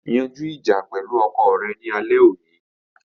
Yanju ija pẹlu ọkọ rẹ ni alẹ oni